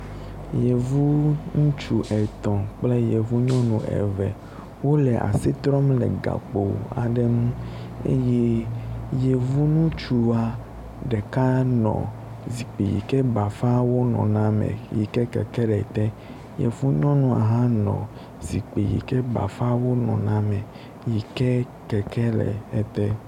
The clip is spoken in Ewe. Yevu ŋutsu etɔ̃ kple yevu nyɔnu eve wole asi trɔm le gakpo aɖe ŋu eye yevu ŋutsua ɖeka nɔ zikpui yi ke bafawo nɔna me yi ke keke le te. Yevu nyɔnua hã nɔ zikpui yi ke bafawo nɔna me yi ke keke le ete.